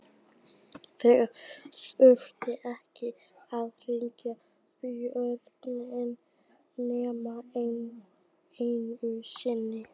Þeir þurftu ekki að hringja bjöllunni nema einu sinni.